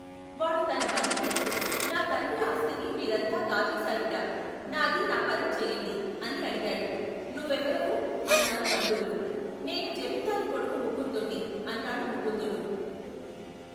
వాడు తన బంధువులతో, నా తండ్రి ఆస్తిని మీరంతా కాజేశారుట. నాది నా పరం చెయ్యండి ! అని అడిగాడు. నువ్వెవరవు ? అన్నారు బంధువులు. నేను జమీందారు కొడుకు ముకుందుణ్ణి ! అన్నాడు ముకుందుడు.